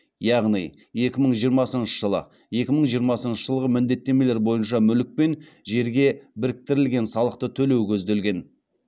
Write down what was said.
яғни екі мың жиырмасыншы жылы екі мың жиырмасыншы жылғы міндеттемелер бойынша мүлік пен жерге біріктірілген салықты төлеу көзделген